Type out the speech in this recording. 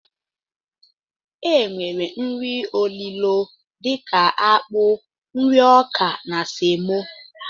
E nwere nri olilo dika akpụ, nri ọkà na semo.